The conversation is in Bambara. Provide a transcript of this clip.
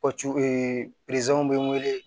bɛ n wele